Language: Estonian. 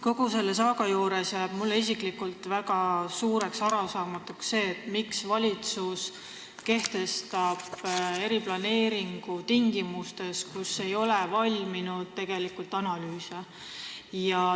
Kogu selles saagas jääb mulle isiklikult väga arusaamatuks see, miks valitsus kehtestab eriplaneeringu tingimustes, kus tegelikult ei ole valminud analüüse.